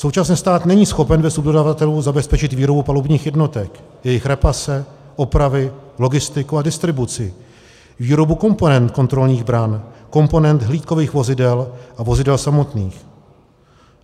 Současně stát není schopen bez subdodavatelů zabezpečit výrobu palubních jednotek, jejich repase, opravy, logistiku a distribuci, výrobu komponent kontrolních bran, komponent hlídkových vozidel a vozidel samotných.